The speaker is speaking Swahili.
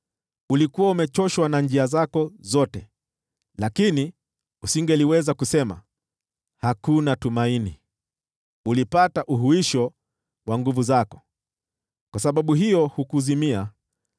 Ulikuwa umechoshwa na njia zako zote, lakini hukusema, ‘Hakuna tumaini.’ Ulipata uhuisho wa nguvu zako, kwa sababu hiyo hukuzimia.